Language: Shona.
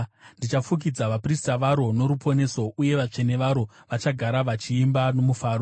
Ndichafukidza vaprista varo noruponeso, uye vatsvene varo vachagara vachiimba nomufaro.